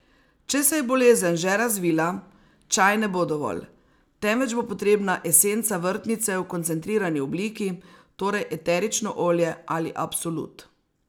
Če se je bolezen že razvila, čaj ne bo dovolj, temveč bo potrebna esenca vrtnice v koncentrirani obliki, torej eterično olje ali absolut.